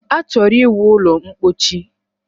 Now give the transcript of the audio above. Achọrọ ịwu ụlọ ḿkpóchí